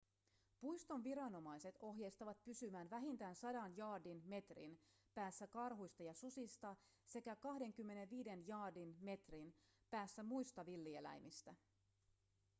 puiston viranomaiset ohjeistavat pysymään vähintään 100 jaardin/metrin päässä karhuista ja susista sekä 25 jaardin/metrin päässä muista villieläimistä